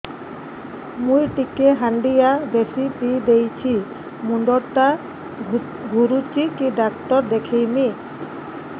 ମୁଇ ଟିକେ ହାଣ୍ଡିଆ ବେଶି ପିଇ ଦେଇଛି ମୁଣ୍ଡ ଟା ଘୁରୁଚି କି ଡାକ୍ତର ଦେଖେଇମି